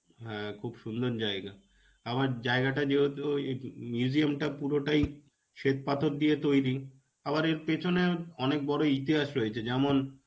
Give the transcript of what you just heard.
হ্যাঁ, খুব সুন্দর জায়গা. আবার জায়গাটা যেহেতু ওই museum টা পুরোটাই শ্বেতপাথর দিয়ে তৈরী. আবার এর পিছনে অনেক বড় ইতিহাস রয়েছে. যেমন,